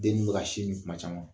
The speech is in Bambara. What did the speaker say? Den du be ka sin min kuma caman